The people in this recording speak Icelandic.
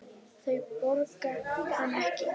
Þau borga hann ekki.